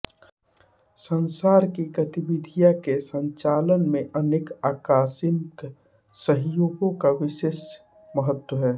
संसार की गतिविधि के संचालन में अनेक आकस्मिक संयोगों का विशेष महत्व है